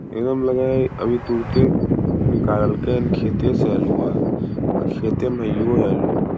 एगो मे लगे हेय अभी तुरेते गारलके हन खेते से अलुहा खेते मे हेईये हेय अल्लू।